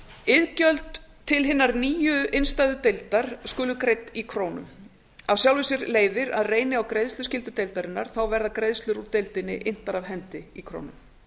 iðgjöld til hinnar nýju innstæðudeildar skulu greidd í krónum af sjálfu sér leiðir að reyni á greiðsluskyldu deildarinnar þá verða greiðslur úr deildinni inntar af hendi í krónum